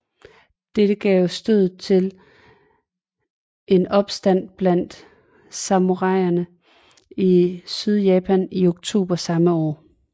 Dette gav stødet til en opstand blandt samuraierne i Sydjapan i oktober samme år